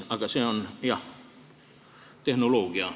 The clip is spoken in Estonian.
Aga see on, jah, tehnoloogia.